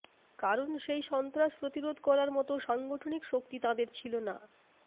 কারণ সেই সন্ত্রাস প্রতিরোধ করার মতো সাংগঠনিক শক্তি তাঁদের ছিল না